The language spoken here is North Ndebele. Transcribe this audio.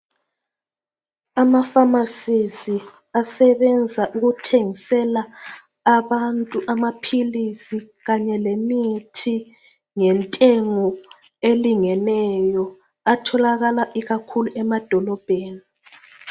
AmaPharmacies asebenza ukuthengisela abantu amaphilisi kanye lemithi ngentengo elingeneyo atholakala ikakhulu emadolobheni.